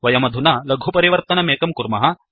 वयमधुना लघुपरिवर्तनमेकं कुर्मः